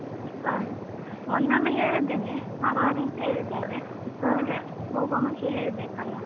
ಮೊನ್ನೆ ಒಮ್ಮೆ ಹೇಳಿದ್ದೇನೆ ಮಾತಾಡಿ ಅಂತ ಹೇಳಿದ್ದಾರೆ ಹಾಗೆ ಹೋಗುವ ಮುಂಚೆ ಹೇಳ್ಬೇಕಲ್ವ.